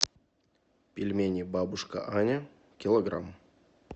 пельмени бабушка аня килограмм